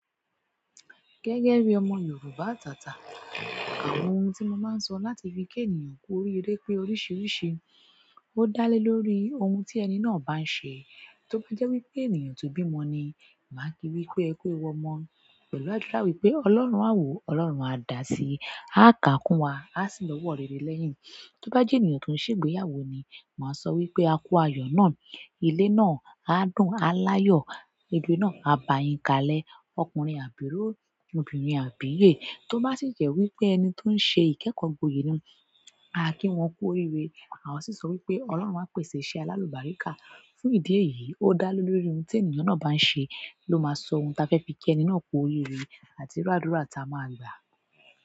Gẹ́gẹ́ bí ọmọ Yorùbá atàtà, àwọn ohun tí mo máa ń sọ láti fi kí ènìyàn kú oríire pé oríṣiríṣi, ó dá lé lórí ohun tí ẹni náà bá ń ṣe. Tó bá jẹ́ wípé ènìyàn tó bí ọmọ ni, màá kí wípé "ẹ kú ewu ọmọ́" pẹ̀lú àdúrà wípé "Ọlọ́run a wo, Ọlọ́run a dà sí, a kànkún wa, a sìn lọ́wọ́ rere lẹ́yìn". Tó bá jẹ ènìyàn tó ń ṣe ìgbéyàwó ni, má sọ wípé a kú ayọ nà, ilé náà a dùn a l'ayọ, ire nà a bayin kalẹ̀ ọkùnrin àbíró, obìnrin àbíyè. Tó bá sì jẹ́ wípé ẹni tó ń ṣe ìkẹ́kọ̀ọ́ gboyè ni, à á kí wọ́n kú oríire. Àwọn sì ń sọ wípé "Ọlọ́run á pèsè iṣẹ́ alálùbáríkà". Fún ìdí èyí, ó dá lé lórí ohun tí ènìyàn náà bá ń ṣe ló máa sọ ohun ta fẹ́ fi kí ẹni náà kú oríire àti irú àdúrà ta a máa gbà.